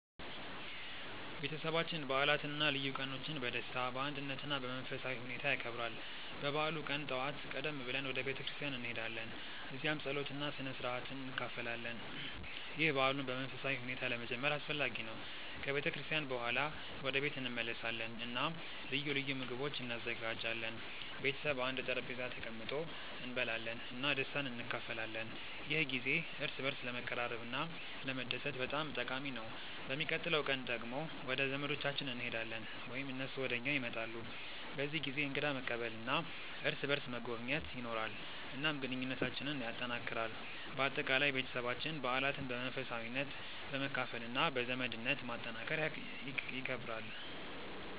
ቤተሰባችን በዓላትን እና ልዩ ቀኖችን በደስታ፣ በአንድነት እና በመንፈሳዊ ሁኔታ ያከብራል። በበዓሉ ቀን ጠዋት ቀደም ብለን ወደ ቤተ ክርስቲያን እንሄዳለን፣ እዚያም ጸሎት እና ስነ-ሥርዓት እንካፈላለን። ይህ በዓሉን በመንፈሳዊ ሁኔታ ለመጀመር አስፈላጊ ነው። ከቤተ ክርስቲያን በኋላ ወደ ቤት እንመለሳለን እና ልዩ ልዩ ምግቦች እንዘጋጃለን። ቤተሰብ በአንድ ጠረጴዛ ተቀምጦ እንበላለን እና ደስታን እንካፈላለን። ይህ ጊዜ እርስ በርስ ለመቀራረብ እና ለመደሰት በጣም ጠቃሚ ነው። በሚቀጥለው ቀን ደግሞ ወደ ዘመዶቻችን እንሄዳለን ወይም እነሱ ወደ እኛ ይመጣሉ። በዚህ ጊዜ እንግዳ መቀበል እና እርስ በርስ መጎብኘት ይኖራል፣ እናም ግንኙነታችንን ያጠናክራል። በአጠቃላይ፣ ቤተሰባችን በዓላትን በመንፈሳዊነት፣ በመካፈል እና በዘመድነት ማጠናከር ይከብራል።